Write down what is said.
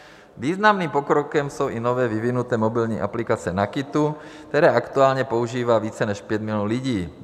Významný pokrokem jsou i nově vyvinuté mobilní aplikace NAKITu, které aktuálně používá více než 5 milionů lidí.